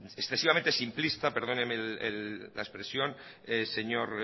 excesivamente simplista perdóneme la expresión señor